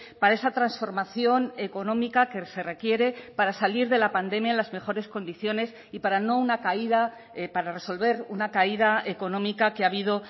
para esa transformación económica que se requiere para salir de la pandemia en las mejores condiciones y para no una caída para resolver una caída económica que ha habido